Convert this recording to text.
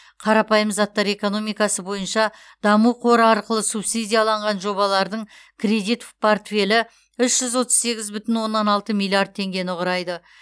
қарапайым заттар экономикасы бойынша даму қоры арқылы субсидияланған жобалардың кредит портфелі үш жүз отыз сегіз бүтін оннан алты миллиард теңгені құрайды